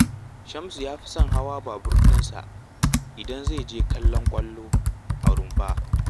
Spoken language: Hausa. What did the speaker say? Shamsu ya fi son hawa baburinsa idan zai je kallon ƙwallo a Rumfa